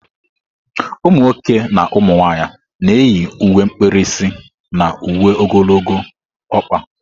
Umunwoke na umunwanyị na-eyi uwe mkpirisi na uwe ogologo ọkpa.